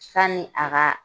Sanni a ka